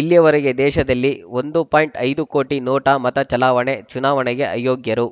ಇಲ್ಲಿಯವರೆಗೆ ದೇಶದಲ್ಲಿ ಒಂದು ಪಾಯಿಂಟ್ ಐದು ಕೋಟಿ ನೋಟಾ ಮತ ಚಲಾವಣೆ ಚುನಾವಣೆಗೆ ಅಯೋಗ್ಯರು